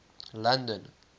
london